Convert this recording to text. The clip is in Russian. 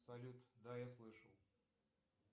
салют да я слышал